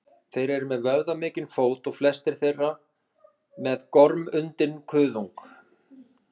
þeir eru með vöðvamikinn fót og flestir þeirra með gormundinn kuðung